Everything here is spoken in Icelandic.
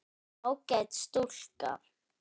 Ágæt stúlka.